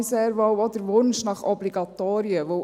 Ich verstehe hier sehr wohl den Wunsch nach Obligatorien.